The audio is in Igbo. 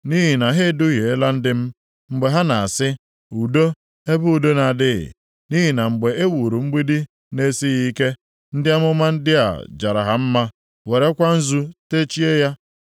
“ ‘Nʼihi na ha eduhiela ndị m, mgbe ha na-asị, “Udo,” ebe udo na-adịghị, nʼihi na mgbe e wuru mgbidi na-esighị ike, ndị amụma ndị a jara ha mma, werekwa nzu techie ya.